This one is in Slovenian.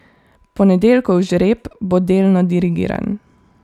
Ponedeljkov žreb bo delno dirigiran.